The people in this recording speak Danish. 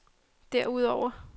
derudover